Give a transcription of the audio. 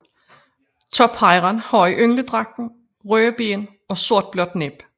Tophejren har i yngledragten røde ben og sortblåt næb